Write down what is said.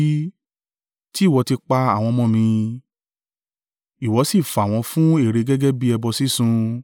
Tí ìwọ ti pa àwọn ọmọ mí, ìwọ sì fà wọ́n fún ère gẹ́gẹ́ bí ẹbọ sísun.